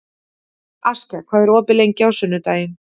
Askja, hvað er opið lengi á sunnudaginn?